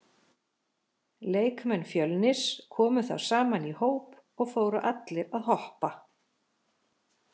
Leikmenn Fjölnis komu þá saman í hóp og fóru allir að hoppa.